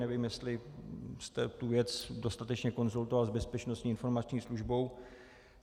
Nevím, jestli jste tu věc dostatečně konzultoval s Bezpečnostní informační službou.